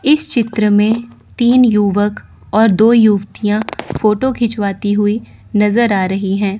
इस चित्र में तीन युवक और दो युतियाँ फ़ोटो खिंचवाती हुई नज़र आ रही हैं।